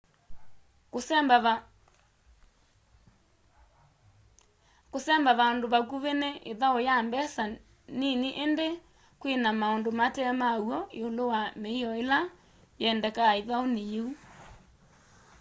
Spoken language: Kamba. kũsemba vandũ vakũvi ni ĩthaũ ya mbesa nini indĩ kwina maũndũ mate ma w'o ĩũlũ wa mĩio ila yiendekaa ithaũni yiĩ